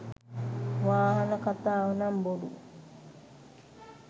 වාහන කතාව නං බොරු.